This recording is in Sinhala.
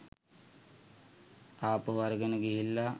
ආපහු අරගෙන ගිහිල්ලා.